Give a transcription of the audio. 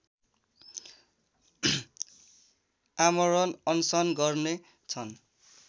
आमरण अनसन गर्ने छन्